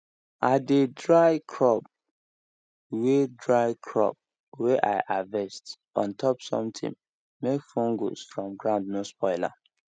i dey dry crop way dry crop way i harvest on top something make fungus from ground no spoil am